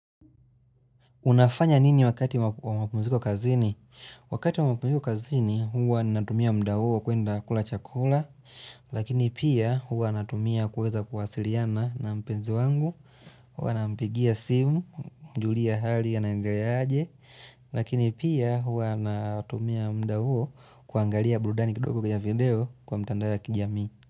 Unafanya nini wakati wa mapumziko kazini? Wakati wa mapumziko kazini, huwa ninatumia muda huo kuenda kula chakula, lakini pia huwa natumia kuweza kuwasiliana na mpenzi wangu, huwa nampigia simu, kumjulia hali, anaendeleaje, lakini pia huwa natumia muda huo kuangalia burudani kidogo kwenye video kwa mitandao ya kijami.